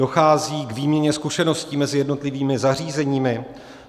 Dochází k výměně zkušeností mezi jednotlivými zařízeními?